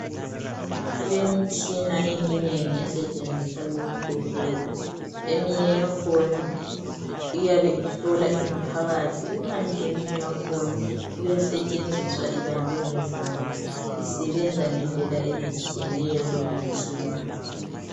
Kulemtshina eminengi esetshenziswa esibhedlela. Eminye yakhona iyabe ihlola ingaphathi imine yakhona iyasetshenziswa ibanjwe ngezandla. Isebenza ngedlela ezitshiyeneyo lemitshina.